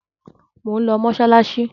Mò ń lọ mọ́ṣáláṣí.